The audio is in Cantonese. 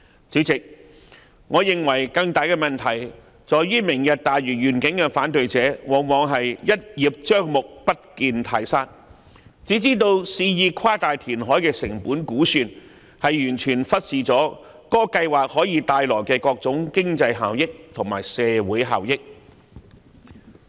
主席，我認為更大的問題在於"明日大嶼願景"的反對者往往是"一葉障目，不見泰山"，肆意誇大填海的成本估算，完全忽視了計劃可以帶來的各種經濟效益和社會效益。